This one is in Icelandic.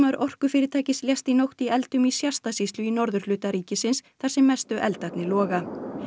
orkufyrirtækis lést í nótt í eldum í Shasta sýslu í norðurhluta ríkisins þar sem mestu eldarnir loga